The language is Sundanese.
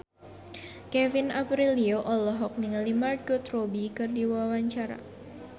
Kevin Aprilio olohok ningali Margot Robbie keur diwawancara